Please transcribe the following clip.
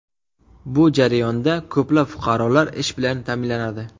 Bu jarayonda ko‘plab fuqarolar ish bilan ta’minlanadi.